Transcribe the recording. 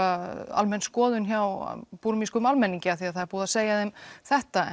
almenn skoðun hjá búrmískum almenningi af því það er búið að segja þeim þetta